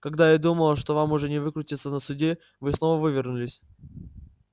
когда я думал что вам уже не выкрутиться на суде вы снова вывернулись